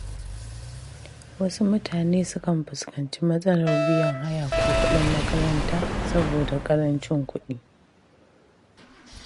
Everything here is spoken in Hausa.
Wasu mutane sukan fuskanci matsalar biyan haya ko kuɗin makaranta saboda ƙarancin kuɗi.